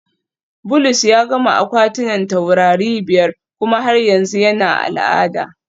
Bulus ya gama akwatunan taurari biyar kuma har yanzu yana al'ada